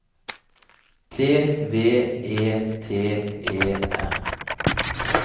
T V E T E R